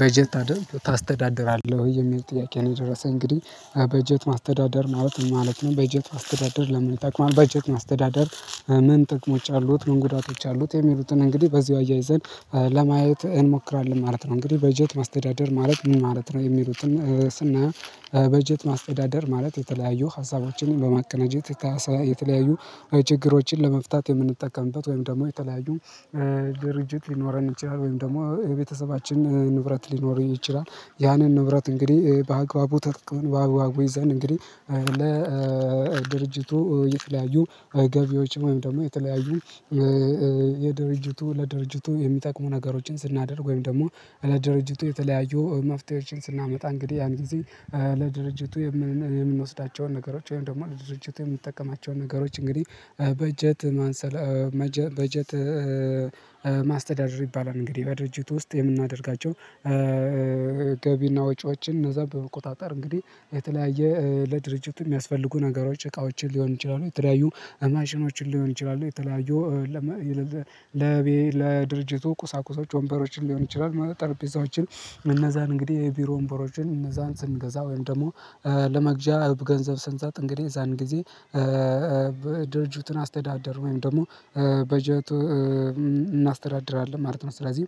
በጀት አደርግ ታስተዳድራለህ ወይ? የሚል ጥያቄ ነው የደረሰኝ እንግዲህ በጀት ማስተዳደር ማለት ምን ማለት ነው? በጀት ማስተዳደር ለምን ይጠቀም በጀት አስተዳደር ምን ጥቅሞች አሉት፣ ምን ጉዳቶች አሉት የሚሉትን እንግዲህ በዚሁ አያይዘን ለማየት እንሞክራለን ማለት ነው። እንግዲህ በጀት ማስተዳደር ማለት ምን ማለት ነው የሚሉትን ስናየው በጀት ማስተዳደር ማለት የተለያዩ ሀሳቦችን በማቀናጀት የተለያዩ ችግሮችን ለመፍታት የምንጠቀምበት ወይም ደግሞ የተለያዩ ድርጅት ይኖረን እንችላለን ወይም ደግሞ የቤተሰባችን ንብረት ሊኖረኝ ይችላል ያንን ንብረት እንግዲህ በአግባቡ ተጠቅመን በአግባቡ ይዛን እንግዲህ ድርጅቱ የተለያዩ ገቢዎች ወይም ደግሞ የተለያዩ የድርጅቱ ለድርጅቱ የሚጠቅሙ ነገሮችን ስናደርግ ወይም ደግሞ እለ ድርጅቱ የተለያዩ መፍትሄዎችን ስናመጣ እንግዲህ ያን ጊዜ ለድርጅቱ የምንወስዳቸውን ነገሮች ወይም ደግሞ ለድርጅቱ የምንጠቀማቸውን ነገሮች እንግዲህ በጀት ማንሰላ በጀት ማስተዳደር ይባላል። እንግዲህ በድርጅቱ ውስጥ የምናደርጋቸው ገቢና ወጪዎችን እዛ በቁጣጣር እንግዲህ የተለያየ ለድርጅቱ የሚያስፈልጉ ነገሮች እቃዎችን ሊሆን ይችላሉ የተለያዩ አማሽኖችን ሊሆን ይችላሉ የተለያዩ ለድርጅቱ ቁሳቁሶች ወንበሮችን ሊሆን ይችላል ማለት ጠርጴዛዎችን እነዛን እንግዲህ የቢሮ ወንበሮችን እነዛን ስንገዛ ወይም ደግሞ ለመግዣ እብ ገንዘብ ስንሰጥ እንግዲህ የዛን ጊዜ ድርጅቱን አስተዳደሩ ወይም ደግሞ በጀት እናስተዳድራለን ማለት ነው። ስለዚህ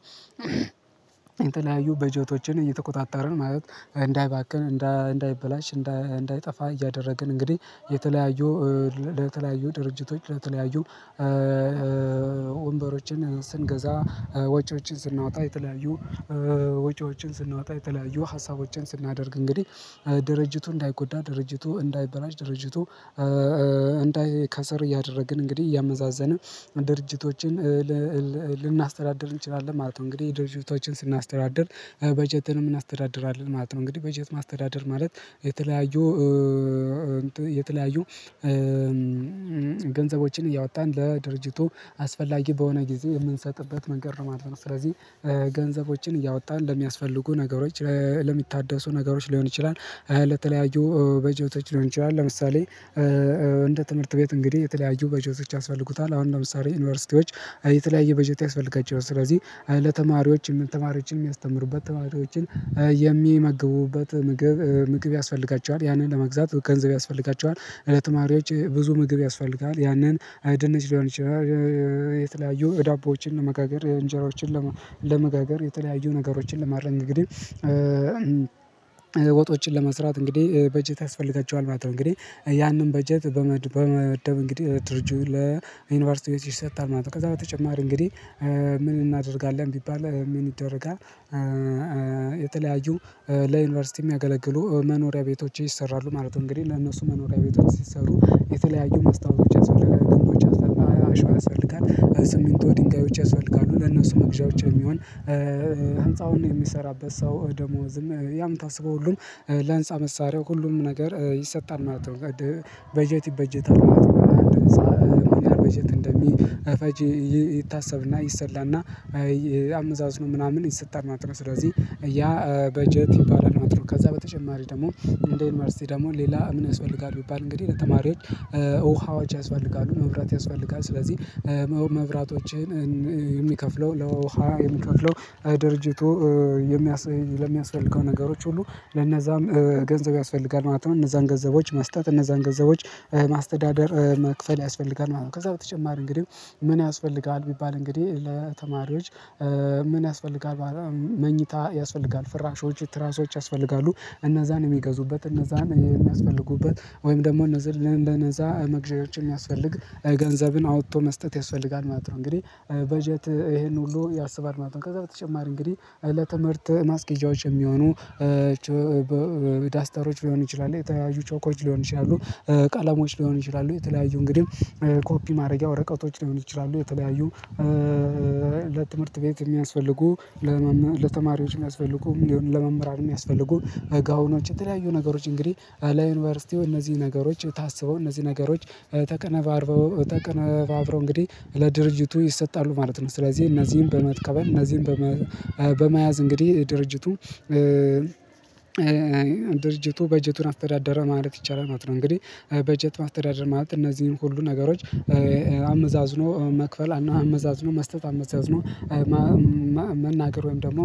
የተለያዩ በጀቶችን እየተቆጣጠርን ማለት እንዳይባክን፣ እንዳይበላሽ፣ እንዳይጠፋ፣ እያደረግን እንግዲህ የተለያዩ ለተለያዩ ድርጅቶች ለተለያዩ ወንበሮችን ስንገዛ ወጪዎችን ስናወጣ የተለያዩ ወጪዎችን ስናወጣ የተለያዩ ሀሳቦችን ስናደርግ እንግዲህ ድርጅቱ እንዳይጎዳ ድርጅቱ እንዳይበላሽ ድርጅቱ ከሰር እያደረግን እንግዲህ እያመዛዘንን ድርጅቶችን ልናስተዳድር እንችላለን ማለት ነው። እንግዲህ ድርጅቶችን ስናስተዳድር በጀትንም እናስተዳድራለን ማለት ነው። እንግዲህ በጀት ማስተዳደር ማለት የተለያዩ የተለያዩ ገንዘቦችን እያወጣን ለድርጅቱ አስፈላጊ በሆነ ጊዜ የምንሰጥበት መንገድ ነው ማለት ስለዚህ ገንዘቦችን እያወጣን ለሚያስፈልጉ ነገሮች ለሚታደሱ ነገሮች ሊሆን ይችላል ለተለያዩ በጨዋታዎች ሊሆን ይችላል ለምሳሌ እንደ ትምህርት ቤት እንግዲህ የተለያዩ በጀቶች ያስፈልጉታል። አሁን ለምሳሌ ዩኒቨርሲቲዎች የተለያየ በጀት ያስፈልጋቸው ስለዚህ ለተማሪዎች የምንተማሪዎችን የሚያስተምሩበት ተማሪዎችን የሚመግቡበት ምግብ ምግብ ያስፈልጋቸዋል ያንን ለመግዛት ገንዘብ ያስፈልጋቸዋል። ለተማሪዎች ብዙ ምግብ ያስፈልጋል ያንን ድንች ሊሆን ይችላል የተለያዩ ዳቦዎችን ለመጋገር እንጀራዎችን ለመጋገር የተለያዩ ነገሮችን ለማድረግ እንግዲህ ወጦችን ለመስራት እንግዲህ በጀት ያስፈልገችዋል ማለት ነው እንግዲህ ያንን በጀት በመደብ እንግዲህ ድርጅቱ ለዩኒቨርሲቲ ቤት ይሰጣል ማለት ነው ከዛ በተጨማሪ እንግዲህ ምን እናደርጋለን ቢባል ምን ይደረጋል የተለያዩ ለዩኒቨርሲቲ የሚያገለግሉ መኖሪያ ቤቶች ይሰራሉ ማለት ነው። እንግዲህ ለእነሱ መኖሪያ ቤቶች ሲሰሩ የተለያዩ ማስታወቻ ለግንቦቻ ግንቦች ያስፈልጋሉ አሸዋው ያስፈልጋሉ ስምንቱ ድንጋዮች ያስፈልጋሉ ለነሱ መግዣዎች የሚሆን ሀንጻውን የሚሰራበት ሰው ደሞዝም ያም ታስበው ሁሉም ለህንፃ መሳሪያው ሁሉም ነገር ይሰጣል። ማለት ነው በጀት ይበጀታል። ማለት በጀት እንደሚፈጅ ይታሰብና ይሰጣል እና አመዛዝኖ ምናምን ይሰጣል። ማለት ነው፣ ስለዚህ ያ በጀት ይባላል። ማለት ነው። ከዛ በተጨማሪ ደግሞ እንደ ዩኒቨርሲቲ ደግሞ ሌላ ምን ያስፈጋል? ቢባል እንግዲህ ለተማሪዎች ውሃዎች ያስፈልጋሉ፣ መብራት ያስፈልጋሉ። ስለዚህ መብራቶችህን የሚከፍለው ለውሃ የሚከፍለው ድርጅቱ የሚያስ ለሚያስፈልገው ነገሮች ሁሉ ለነዛም ገንዘብ ያስፈልጋል። ማለት ነው። እነዛን ገንዘቦች መስጠት፣ እነዛን ገንዘቦች ማስተዳደር መክፈል ያስፈልጋል። ከዛ በተጨማሪ እንግዲህ ምን ያስፈልጋል? ቢባል እንግዲህ ለተማሪዎች ምን ያስፈልጋል መኝታ ያስፈልጋል፣ ፍራሾች ትራሾች ያስፈልጋሉ እነዛን የሚገዙበት እነዛን የሚያስፈልጉበት ወይም ደግሞ እነዛ ለነዛ መግዣችን የሚያስፈልግ ገንዘብን አውጥቶ መስጠት ያስፈልጋል። ማለት ነው እንግዲህ በጀት ይሄን ሁሉ ያስባል ማለት ነው። ከዛ በተጨማሪ እንግዲህ ለትምህርት ማስጌዣዎች የሚሆኑ ዳስታሮች ሊሆን ይችላል የተያያዙ ቾኮች ሊሆን ኮፒ ማድረጊያ ወረቀቶች ሊሆኑ ይችላሉ የተለያዩ ለትምህርት ቤት የሚያስፈልጉ ለተማሪዎች የሚያስፈልጉ ሚሊዮን ለመምህራን የሚያስፈልጉ ጋውኖች የተለያዩ ነገሮች እንግዲህ ለዩኒቨርሲቲው እነዚህ ነገሮች ታስበው እነዚህ ነገሮች ተቀነባብሮ ተቀነባብሮ እንግዲህ ለድርጅቱ ይሰጣሉ። ማለት ነው ስለዚህ እነዚህን በመትከበል እነዚህን በመያዝ እንግዲህ ድርጅቱ ድርጅቱ በጀቱን አስተዳደረ ማለት ይቻላል። ማለት ነው። እንግዲህ በጀት ማስተዳደር ማለት እነዚህን ሁሉ ነገሮች አመዛዝኖ መክፈል፣ አመዛዝኖ መስጠት፣ አመዛዝ ነው መናገር፣ ወይም ደግሞ